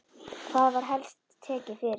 Hvað var helst tekið fyrir?